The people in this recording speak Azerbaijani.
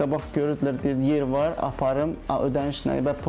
Qabaq görürdülər, deyirdilər yer var, aparım, ödəniş yoxdur, pulum yoxdur.